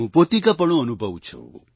હું પોતિકાપણું અનુભવું છું